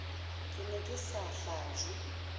ke ne ke sa hlajwe